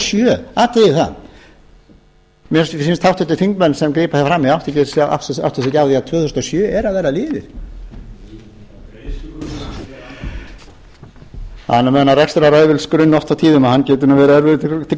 sjö athugið þið það mér sýnist háttvirtir þingmenn sem grípa hér fram í átti sig ekki á því að tvö þúsund og sjö er að verða liðið það er nú með þennan rekstrarræfilsgrunn